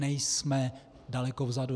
Nejsme daleko vzadu.